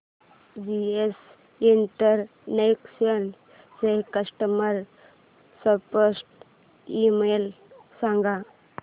GS international चा customer support email सांग